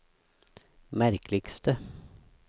merkeligste